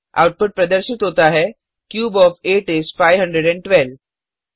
output प्रदर्शित होता है क्यूब ओएफ 8 इस 512